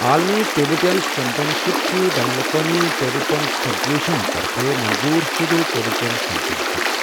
عالمی table tennis چمپِین شِپہٕ چھِ بینٗلاقوٲمی ٹیبل ٹینِس فیڈریشن طرفہٕ منظٗور شٗدٕ ٹیبل ٹینِس چمپِین شِپ ۔